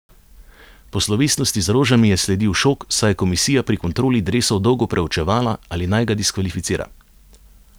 Po slovesnosti z rožami je sledil šok, saj je komisija pri kontroli dresov dolgo preučevala, ali naj ga diskvalificira.